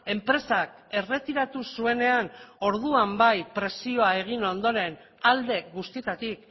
enpresak erretiratu zuenean orduan bai presioa egin ondoren alde guztietatik